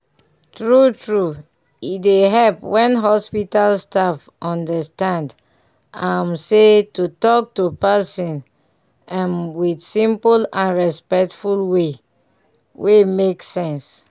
true true e dey help when hospital staff understand um say to talk to person um with simple and respectful way wey make sense.